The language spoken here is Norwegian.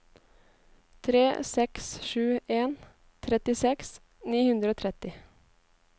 tre seks sju en trettiseks ni hundre og tretti